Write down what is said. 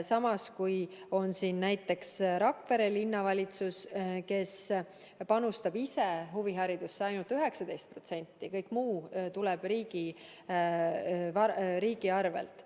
Samas näiteks Rakvere Linnavalitsus panustab ise huviharidusse ainult 19%, kõik muu tuleb riigilt.